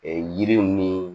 yiriw ni